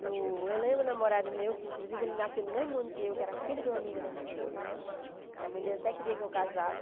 Eu lembro do namorado meu, que inclusive ele nasceu no mesmo ano que eu, que era filho de uma amiga da minha mãe, que a mãe dele até queria que eu casasse.